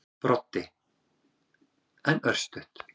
Broddi: En örstutt.